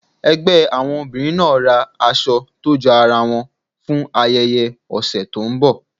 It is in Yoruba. ẹgbẹ àwọn obìrin naa ra aṣọ to jọ aràn won fún ayẹyẹ òsé tó n bò.